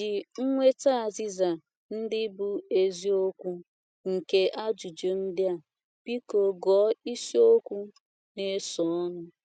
Iji nweta azịza ndị bụ́ eziokwu nye ajụjụ ndị a, biko gụọ isiokwu na - esonụ.